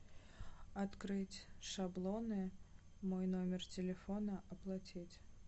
открыть шаблоны мой номер телефона оплатить